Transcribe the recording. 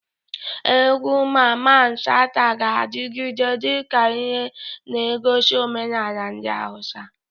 Egwu Mamman Shata ga-adigide dika ihe negosi omenala ndi Hausa.